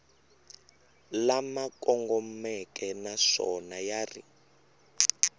lama kongomeke naswona ya ri